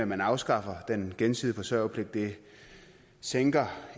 man afskaffer den gensidige forsørgerpligt sænker